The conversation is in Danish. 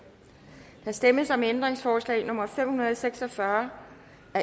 der stemmes om ændringsforslag nummer fem hundrede og seks og fyrre